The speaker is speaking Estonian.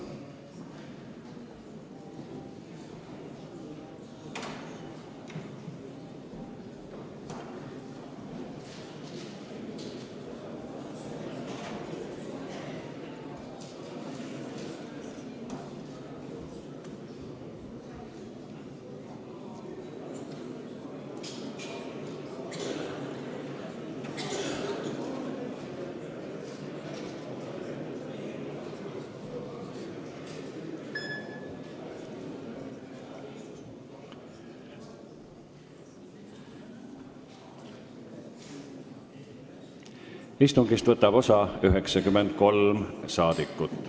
Kohaloleku kontroll Istungist võtab osa 93 rahvasaadikut.